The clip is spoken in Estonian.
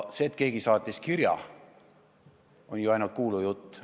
See, et keegi saatis mingi kirja, on ainult kuulujutt.